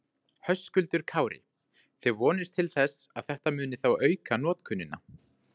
Höskuldur Kári: Þið vonist til þess að þetta muni þá auka notkunina?